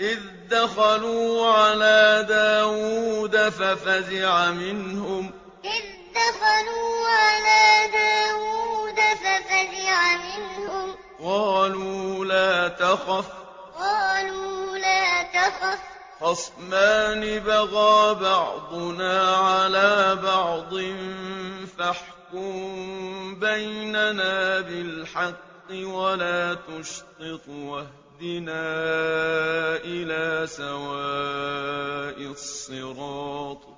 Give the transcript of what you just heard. إِذْ دَخَلُوا عَلَىٰ دَاوُودَ فَفَزِعَ مِنْهُمْ ۖ قَالُوا لَا تَخَفْ ۖ خَصْمَانِ بَغَىٰ بَعْضُنَا عَلَىٰ بَعْضٍ فَاحْكُم بَيْنَنَا بِالْحَقِّ وَلَا تُشْطِطْ وَاهْدِنَا إِلَىٰ سَوَاءِ الصِّرَاطِ